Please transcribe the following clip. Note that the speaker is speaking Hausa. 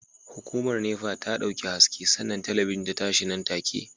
Hukumar NEPA ta dauki haske sannan talabijin ta tashi nan take